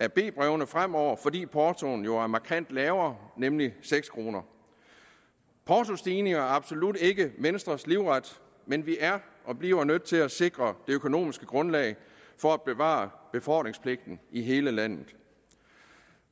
af b brevene fremover fordi portoen jo er markant lavere nemlig seks kroner portostigninger er absolut ikke venstres livret men vi er og bliver nødt til at sikre det økonomiske grundlag for at bevare befordringspligten i hele landet